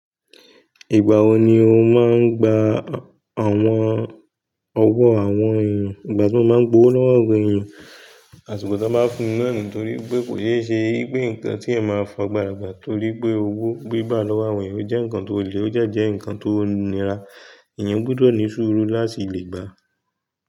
Ìgbà wo ni o máa ń gba àwọn ọwọ́ àwọn èèyàn? Ìgbà tí mo máa ń gbówó lọ́wọ́ àwọn èèyàn, àṣiko tí wọ́n bá fún mí na ni torí pé kò sé ṣe wípé nǹkan tí ẹ máa fi agbàra gbà torí pé owó gbígbà lọ́wọ́ àwọn èèyàn ó jẹ́ nǹkan tó le ó dẹ́ jẹ́ nǹkan tó nira. Ẹ̀yàn gbudọ̀ ní sùúrù láti lè gbà.